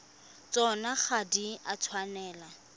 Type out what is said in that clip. tsona ga di a tshwanela